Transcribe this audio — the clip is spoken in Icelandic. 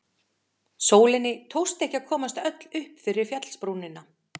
Sólinni tókst ekki að komast öll upp fyrir fjallsbrúnina.